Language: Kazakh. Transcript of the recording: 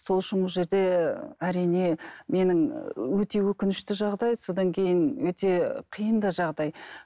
сол үшін бұл жерде әрине менің өте өкінішті жағдай содан кейін өте қиын да жағдай